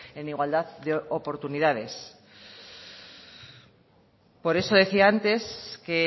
en igualdad de oportunidades por eso decía antes que